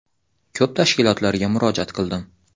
Ko‘p tashkilotlarga murojaat qildim.